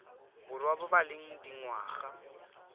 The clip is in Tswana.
borwa ba ba leng dingwaga